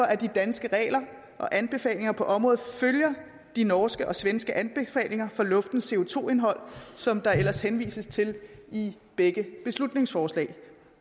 at de danske regler og anbefalinger på området følger de norske og svenske anbefalinger for luftens co2 indhold som der ellers henvises til i begge beslutningsforslag